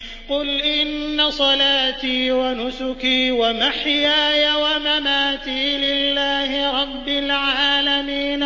قُلْ إِنَّ صَلَاتِي وَنُسُكِي وَمَحْيَايَ وَمَمَاتِي لِلَّهِ رَبِّ الْعَالَمِينَ